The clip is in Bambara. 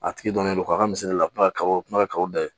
A tigi dɔnnen don k'a ka misali la a kuma ka o kuma kaw da